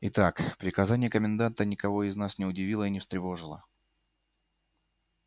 итак приказание коменданта никого из нас не удивило и не встревожило